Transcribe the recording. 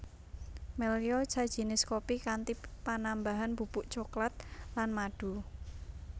Melya sajinis kopi kanthi panambahan bubuk cokelat lan madu